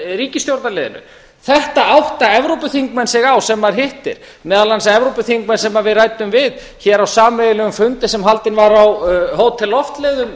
ríkisstjórnarliðinu þetta átta evrópuþingmenn sem maður hittir sig á meðal annars evrópuþingmenn sem við ræddum við á sameiginlegum fundi sem haldinn var á hótel loftleiðum